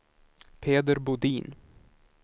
Peder Bodin